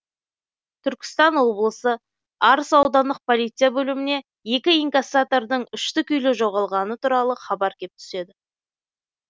түркістан облысы арыс аудандық полиция бөліміне екі инкассатордың үшті күйлі жоғалғаны туралы хабар кеп түседі